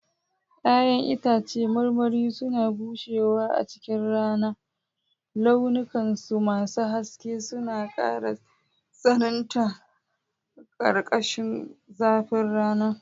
Ya'yan itãcen marmari suna bushewa a cikin rana, launukansu masu haske suna ƙara tsananta a ƙarƙashin zafin rana.